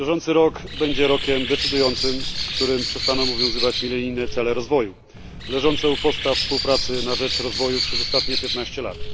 Bieżący rok będzie rokiem decydującym, w którym przestaną obowiązywać milenijne cele rozwoju, leżące u podstaw współpracy na rzecz rozwoju przez ostatnie 15 lat.